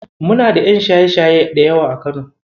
Muna da ƴan shaye-shaye da yawa a Kano.